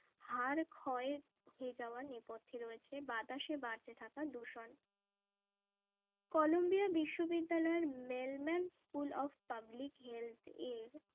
হাড় ক্ষয় হয়ে যাওয়ার নেপথে রয়েছে বাতাসে বাড়তে থাকা দূষণ কলম্বিয়া বিশ্ববিদ্যালয়ের mailman school of public health এর